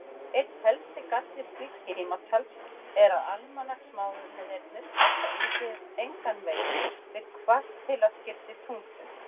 Einn helsti galli slíks tímatals er að almanaksmánuðirnir passa engan veginn við kvartilaskipti tunglsins.